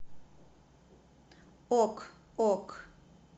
ок ок